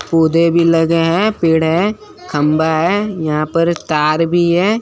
भी लगे हैं। पेड़ हैं खंबा है यहां पर तार भी है।